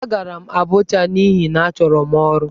Agara m Abuja n'ihi na achọrọ m ọrụ.